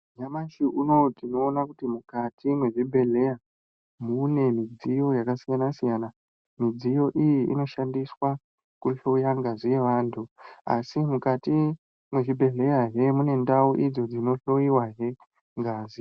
Nyamashi unowu tinoona kuti mukati mwezvibhedhleya mune midziyo yakasiyana siyana, midziyo iyi inoshandiswa kuhloya ngazi yevantu asi mukati mwezvibhedhleyahe mune ndau idzo dzinohloyiwahe ngazi.